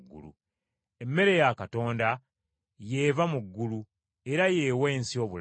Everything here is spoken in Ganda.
Emmere ya Katonda ye eva mu ggulu, era ye awa ensi obulamu.”